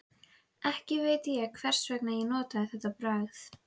Af þessum sökum döfnuðu miðstöðvar úlfaldalestanna vel.